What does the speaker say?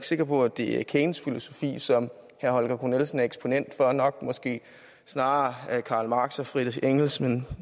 sikker på at det er keynes filosofi som herre holger k nielsen er eksponent for det er nok måske snarere karl marx og friedrich engels men